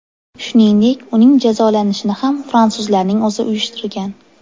Shuningdek, uning jazolanishini ham fransuzlarning o‘zi uyushtirgan.